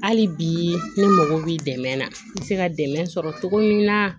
Hali bi ne mago b'i dɛmɛ na i bɛ se ka dɛmɛ sɔrɔ cogo min na